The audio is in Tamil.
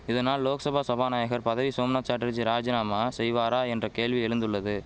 இதனால் லோக்சபா சபாநாயகர் பதவி சோம்நாத் சாட்டர்ஜி ராஜினாமா செய்வாரா என்ற கேள்வி எழுந்துள்ளது